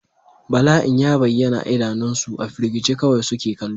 Bala'in ya bayyana a idanunsu, a firgice kawai suke kallo.